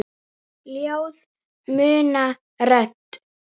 Ljóð muna rödd.